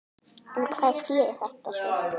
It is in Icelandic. En hvað skýrir þetta svo?